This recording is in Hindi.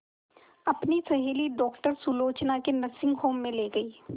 अपनी सहेली डॉक्टर सुलोचना के नर्सिंग होम में ली गई